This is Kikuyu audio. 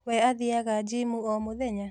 We athiaga gimu o mũthenya?